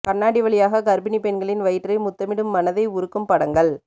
கண்ணாடி வழியாக கர்ப்பிணி பெண்களின் வயிற்றை முத்தமிடும் மனதை உருக்கும் படங்கள்